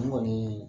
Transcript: N kɔni